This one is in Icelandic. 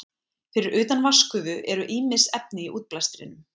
Fyrir utan vatnsgufu eru ýmis efni í útblæstrinum.